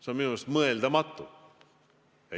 See on minu meelest mõeldamatu.